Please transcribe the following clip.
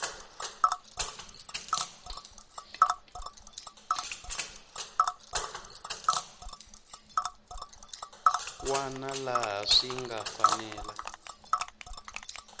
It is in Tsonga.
wana laha swi nga fanela